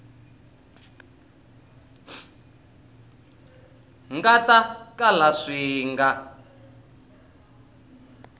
nga ta kala swi nga